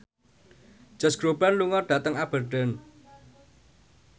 Josh Groban lunga dhateng Aberdeen